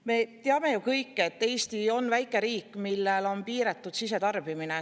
Me kõik ju teame, et Eesti on väike riik, millel on piiratud sisetarbimine.